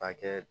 A kɛ